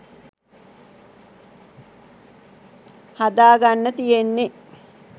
හදාගන්න තියෙන්නෙ.